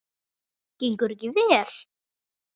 Gengur ekki vel?